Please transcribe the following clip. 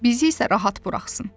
Bizi isə rahat buraxsın.